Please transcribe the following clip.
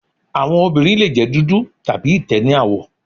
Awọn ọmọbirin le jẹ dudu tabi itẹ ni awọ